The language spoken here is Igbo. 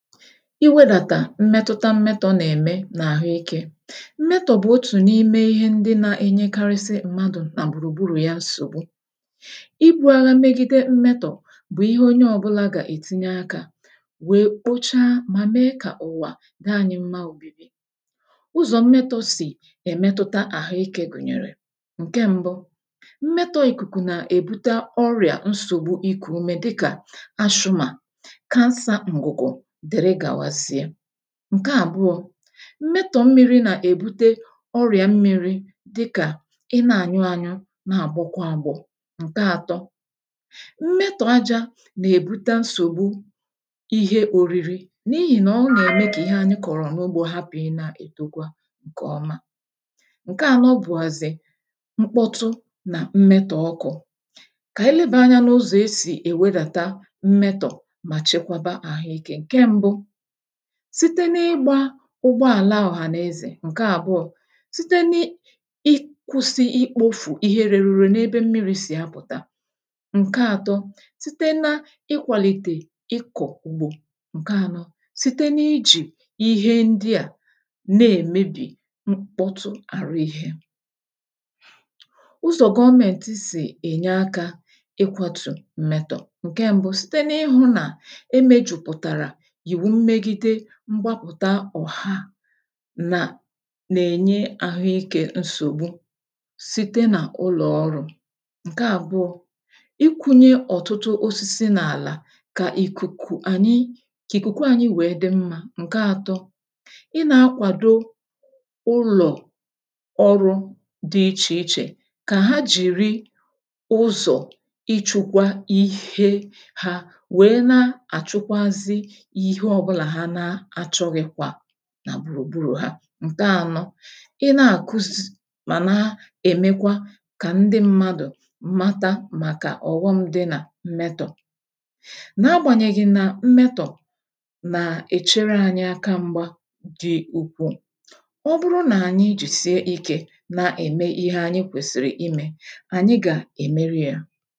Iwedàtà mmetụta mmetọ̀ nà-ème n’àhụikė: Mmetọ̀ bụ̀ otù n’ime ihe ndị na-enyekarịsị mmadụ̀ nà gbùrùgburù ya nsògbu. Ibu̇ agha megide mmetọ̀ bụ̀ ihe onye ọ̇bụ̇la gà-ètinye akȧ wèe kpochaa mà mee kà ụ̀wà d'ànyi mmȧ obibi. ụzọ̀ mmetọ̇ sì èmetota àhụikė gùnyèrè; Nke mbụ, mmetọ̇ ìkùkù nà-èbute ọrị̀à nsògbu ikù ume dịkà ashumà, cancer ngugo, dere gàwazịe. Nke àbụọ,̇ mmetọ̀ mmiri nà-èbute ọrịà mmiri dịkà ị na-ànyụ anyụ na-àgbọkwa agbọ̀. Nke àtọ, mmetọ̀ ajȧ nà-èbute nsògbu ihe òriri n’ihì nà ọ nà-ème kà ihe anyị kọ̀rọ̀ n’ogbȯ hapụ̀ ị nà-ètokwa ǹkèọma. Nke àno bụ̀ghazị, mkpọtụ nà mmetọ̀ ọkụ̀. Kà ànyị lebèe anyȧ n’ụzọ̀ e sì èwedàta mmetọ̀ mà chekwaba àhụike; Nke mbu, site n’ịgbȧ ụgbọàla ohànàeze. Nke àbụọ,̇ site n’ị i ikwụ̇sị̇ ikpofù ihe rėrù ùre n’ebe mmiri̇ sì apụ̀ta. Nke ȧtọ,̇ site na ị kwàlìtè ịkọ̀ ùgbò. Nke ȧnọ,̇ site n’ịjì ihe ndị à na-èmebì mkpọtụ àrụ ihė. ụzọ̀ gọmẹ̀ntị sì ènye akȧ ịkwȧtù mmètọ̀; Nke mbu,̇ site n’ịhụ̇ nà eme jùpụ̀tàrà ìwu mmegide mgbapụ̀ta ọ̀ha nà nà-ènye ahụikė nsògbu site nà ụlọ̀ ọrụ. Nke àbụọ, ikunye ọ̀tụtụ osisi n’àlà kà ìkùkù ànyị kà ìkùkù ànyị wèe dị mmȧ. Nke atọ, i nà-akwàdo ụlọ̀ ọrụ dị ichè ichè kà ha jìrì ụzọ̀ ichukwa ihe ha wee nà achukwazi Ihe obula ha nà achoghikwa nà gbùrù gburù ha. Nke ȧnọ,̇ ị na-àkụzzz màna èmekwa kà ndị mmadụ̀ mata màkà ọ̀ghọm dị nà mmetọ̀. N’agbànyèghị̇ nà mmetọ̀ nà-èchere ȧnyị aka mgba dị ukwuù, ọ bụrụ nà ànyị jisie ikė na-ème ihe anyị kwèsìrì imė ànyị gà-èmeri yȧ.